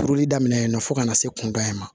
Turuli daminɛ yen nɔ fo ka na se kunda in ma